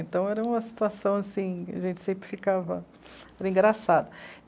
Então era uma situação assim, a gente sempre ficava... Era engraçado.